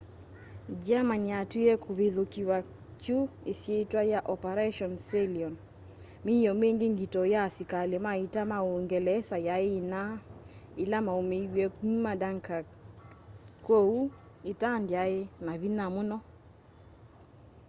germany yatwie kũvithũkĩwa kyu isyitwa ya operation sealion”. míio mingi ngito ya asikali ma ita ma úúngelesa yai inaa ila maumiw'e kuma dunkirk kwoou ita ndyai na vinya muno